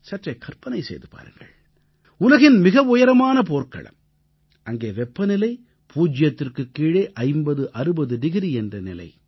சற்றே கற்பனை செய்து பாருங்கள் உலகின் மிக உயரமான போர்க்களம் அங்கே வெப்பநிலை பூஜ்யத்திற்குக் கீழே 5060 டிகிரி என்ற நிலை